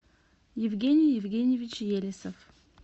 евгений евгеньевич елесов